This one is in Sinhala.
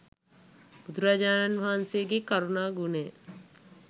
බුදුරජාණන් වහන්සේගෙ කරුණා ගුණය.